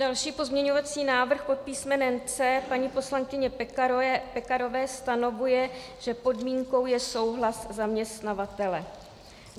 Další pozměňovací návrh pod písmenem C paní poslankyně Pekarové stanovuje, že podmínkou je souhlas zaměstnavatele.